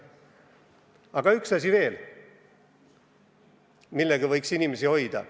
Aga on veel üks asi, mille kaudu võiks inimesi hoida.